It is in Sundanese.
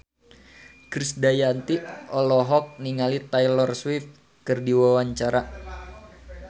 Krisdayanti olohok ningali Taylor Swift keur diwawancara